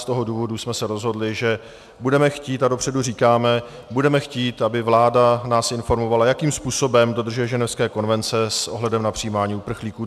Z toho důvodu jsme se rozhodli, že budeme chtít, a dopředu říkáme, budeme chtít, aby nás vláda informovala, jakým způsobem dodržuje Ženevské konvence s ohledem na přijímání uprchlíků.